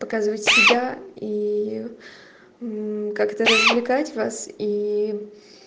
показывать себя и как то развлекать вас и